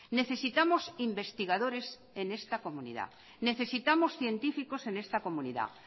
necesitamos investigadores en esta comunidad necesitamos científicos en esta comunidad